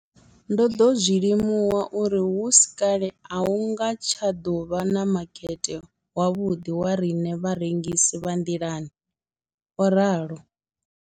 Ndo ḓo zwi limuwa uri hu si kale a hu nga tsha ḓo vha na makete wavhuḓi wa riṋe vharengisi vha nḓilani, o ralo.